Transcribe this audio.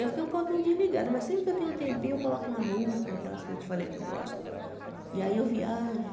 Então, eu fiquei um pouquinho desligada, mas sempre que eu tenho um tempinho, eu coloco uma música, daquelas que eu te falei que eu gosto, e aí eu viajo.